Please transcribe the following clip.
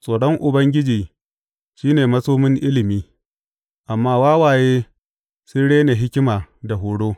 Tsoron Ubangiji shi ne masomin ilimi, amma wawaye sun rena hikima da horo.